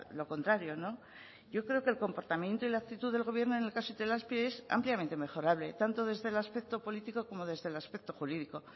lo contrario yo creo que el comportamiento y la actitud del gobierno en el caso de itelazpi es ampliamente mejorable tanto desde el aspecto político como desde el aspecto jurídico